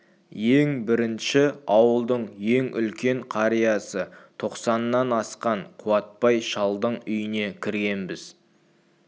ең бірінші ауылдың ең үлкен қариясы тоқсаннан асқан қуатбай шалдың үйіне кіргенбіз